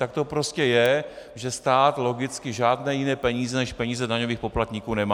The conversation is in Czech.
Tak to prostě je, že stát logicky žádné jiné peníze než peníze daňových poplatníků nemá.